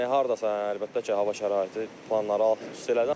Yəni hardasa əlbəttə ki, hava şəraiti planları alt-üst elədi.